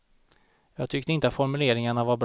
Jag tyckte inte formuleringarna var bra.